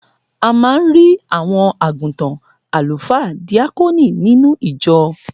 A man rí àwọn àgùntàn, alufaa, díákónì, nínú ìjọ